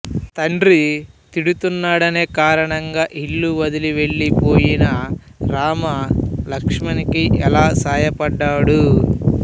తండ్రి తిడుతున్నాడనే కారణంగా ఇల్లు వదిలి వెళ్లిపోయిన రామ లక్ష్మణ్ కి ఎలా సాయపడ్డాడు